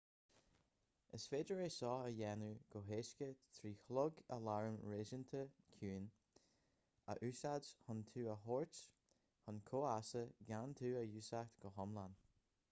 is féidir é seo a dhéanamh go héasca trí chlog aláraim réasúnta ciúin a úsáid chun tú a thabhairt chun comhfheasa gan tú a dhúiseacht go hiomlán